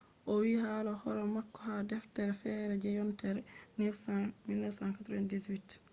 o windi hala hore mako ha deftere fere je yontere 1998